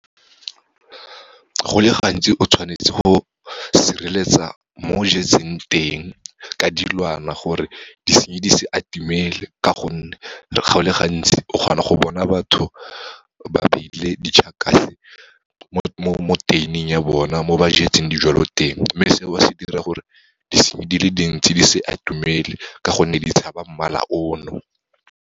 Go le gantsi o tshwanetse go sireletsa mo o jetseng teng ka dilwana, gore disenyi di se atemele ka gonne, go le gantsi o kgona go bona batho ba beile di-Checkers mo tuin-ing ya bona mo ba jetseng dijwalo teng, mme seo se dira gore disenyi di le dintsi di se atumele ka gonne di tshaba mmala ono.